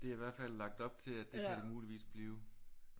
Det er i hvert fald lagt op til at det kan det muligvis blive